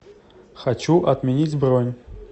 хочу отменить бронь